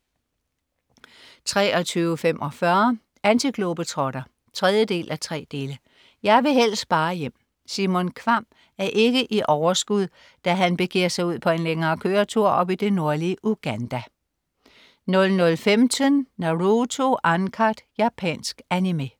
23.45 Antiglobetrotter 3:3. Jeg vil helst bare hjem. Simon Kvamm er ikke i overskud da han begiver sig ud på en længere køretur op i det nordlige Uganda 00.15 Naruto Uncut. Japansk Animé